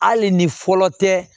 Hali ni fɔlɔ tɛ